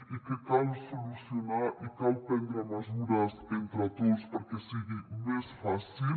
i que cal solucionar i cal prendre mesures entre tots perquè sigui més fàcil